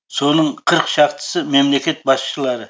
соның қырық шақтысы мемлекет басшылары